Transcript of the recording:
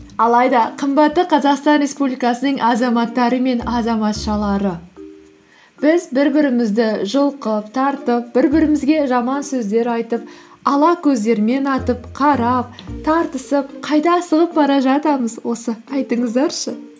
алайда қымбатты қазақстан республикасының азаматтары мен азаматшалары біз бір бірімізді жұлқып тартып бір бірімізге жаман сөздер айтып ала көздермен атып қарап тартысып қайда асығып бара жатамыз осы айтыңыздаршы